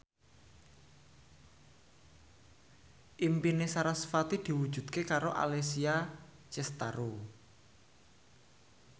impine sarasvati diwujudke karo Alessia Cestaro